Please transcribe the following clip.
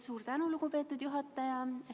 Suur tänu, lugupeetud juhataja!